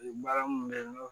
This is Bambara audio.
Baara mun bɛ n bolo